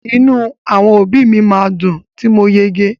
Inu àwọn òbí mi ma dùn ti mo yege.